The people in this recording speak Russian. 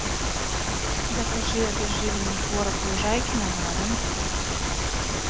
закажи обезжиренный творог лужайкино на дом